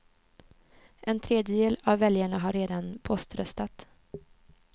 En tredjedel av väljarna har redan poströstat.